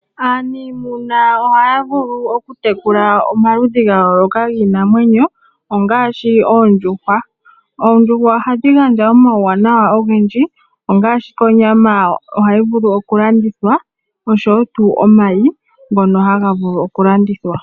Aanimuna ohaya vulu okutekula omaludhi ga yooloka giinamwenyo ngaashi oondjuhwa. Oondjuhwa ohadhi gandja omauwanawa ogendji ngaashi onyama ohayi vulu okulandithwa oshowo tuu omayi ngono haga vulu oku landithwa.